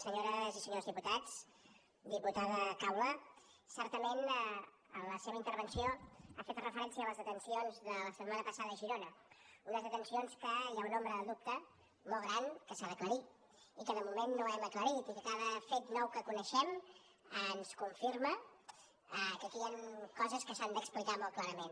senyores i senyors diputats diputada caula certament en la seva intervenció ha fet referència a les detencions de la setmana passada a girona unes detencions que hi ha una ombra de dubte molt gran que s’ha d’aclarir i que de moment no hem aclarit i que cada fet nou que coneixem ens confirma que aquí hi han coses que s’han d’explicar molt clarament